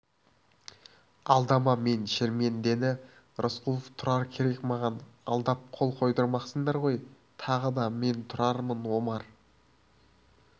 алдама мен шермендені рысқұлов тұрар керек маған алдап қол қойдырмақсыңдар ғой тағы да мен тұрармын омар